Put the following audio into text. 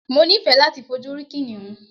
Mo ni fẹ́ láti fojú rí kìnìún.